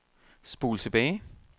spol tilbage